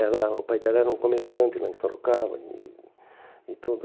Era o pai dela era um comerciante lá em Sorocaba. E e tudo